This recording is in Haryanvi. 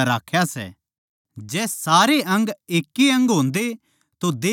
जै सारे अंग एकै ए अंग होंदे तो देह कित्त तै होंदी